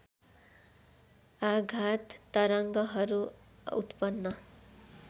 आधात तरङ्गहरू उत्पन्न